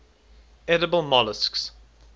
edible molluscs